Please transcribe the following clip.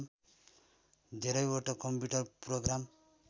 धेरैवटा computer programme